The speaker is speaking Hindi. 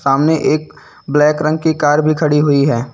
सामने एक ब्लैक रंग की कार भी खड़ी हुई है।